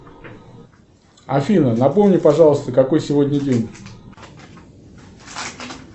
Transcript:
афина напомни пожалуйста какой сегодня день